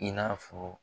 I n'a fɔ